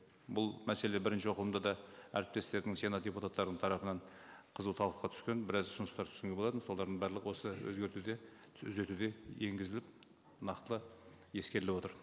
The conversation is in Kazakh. бұл мәселе бірінші оқылымда да әріптестердің сенат депутаттарының тарапынан қызу талқыға түскен біраз ұсыныстар болатын солардың барлығы осы өзгертуге енгізіліп нақтылы ескеріліп отыр